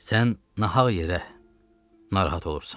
Sən nahaq yerə narahat olursan.